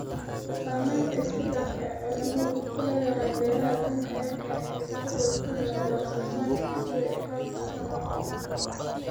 Saamaynta isbeddelka cimiladu ku leedahay beeraha adduunka ayaa keenaya isbeddel ku yimaada wax soo saarka cuntada iyo qaabka isticmaalka.